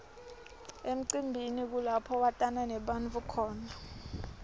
emcimbini kulapho watana nebantfu khona